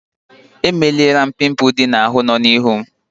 Emelara m pimpul ndị ahụ nọ m n'ihu.